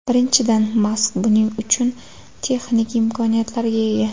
Birinchidan, Mask buning uchun texnik imkoniyatlarga ega.